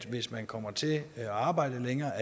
hvis man kommer til at arbejde længere